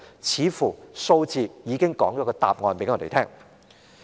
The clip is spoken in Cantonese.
有關數字似乎已經揭示了答案。